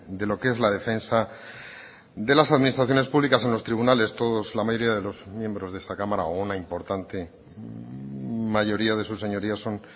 de lo que es la defensa de las administraciones públicas en los tribunales todos la mayoría de los miembros de esta cámara o una importante mayoría de sus señorías son